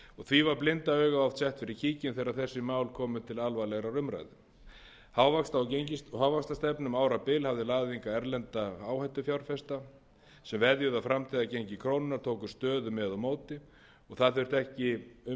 því var blinda augað oft sett fyrir kíkirinn þegar þessi mál komu til alvarlegrar umræðu hávaxtastefna um árabil hafði laðað hingað erlenda áhættufjárfesta sem veðjuðu á framtíðargengi krónunnar tóku stöðu með og móti og það þurfti ekki umsvifamikla þátttakendur á